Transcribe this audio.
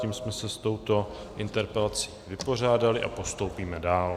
Tím jsme se s touto interpelací vypořádali a postoupíme dál.